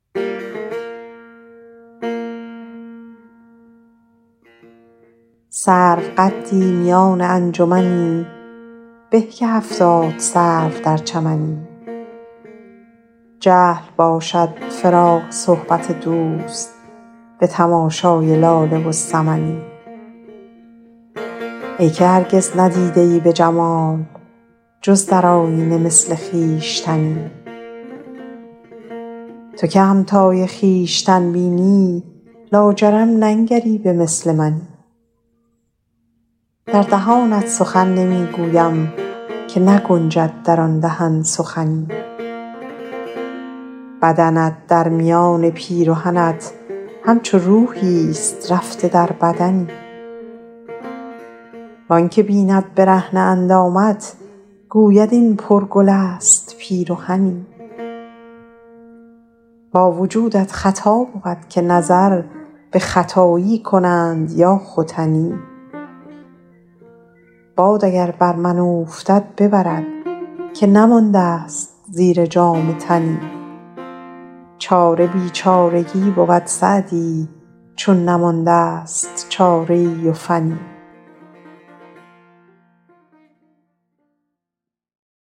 سروقدی میان انجمنی به که هفتاد سرو در چمنی جهل باشد فراق صحبت دوست به تماشای لاله و سمنی ای که هرگز ندیده ای به جمال جز در آیینه مثل خویشتنی تو که همتای خویشتن بینی لاجرم ننگری به مثل منی در دهانت سخن نمی گویم که نگنجد در آن دهن سخنی بدنت در میان پیرهنت همچو روحیست رفته در بدنی وآن که بیند برهنه اندامت گوید این پرگل است پیرهنی با وجودت خطا بود که نظر به ختایی کنند یا ختنی باد اگر بر من اوفتد ببرد که نمانده ست زیر جامه تنی چاره بیچارگی بود سعدی چون ندانند چاره ای و فنی